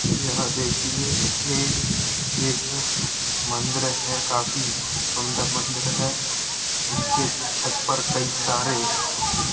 यहा देखिये एक-एक मंदीर हैं काफी सुन्दर मंदिर है उसके छत पर कई सारे --